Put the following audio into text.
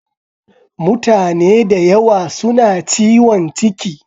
Mutane da yawa suna ciwon ciki